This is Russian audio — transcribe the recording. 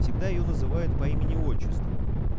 всегда её называют по имени отчеству